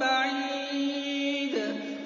بَعِيدٍ